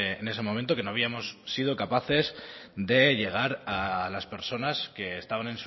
en ese momento que no habíamos sido capaces de llegar a las personas que estaban